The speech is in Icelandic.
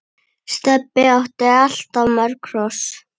Stebbi átti alltaf mörg hross.